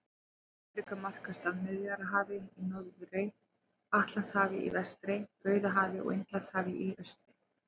Afríka markast af Miðjarðarhafi í norðri, Atlantshafi í vestri, Rauðahafi og Indlandshafi í austri.